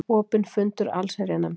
Opinn fundur allsherjarnefndar